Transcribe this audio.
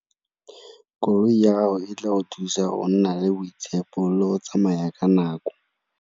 Koloi ya gago e tla go thusa go nna le boitshepo, le go tsamaya ka nako.